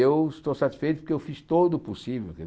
Eu estou satisfeito porque eu fiz todo o possível.